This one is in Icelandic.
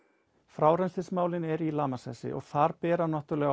frárennslismálin eru í lamasessi og þar bera náttúrulega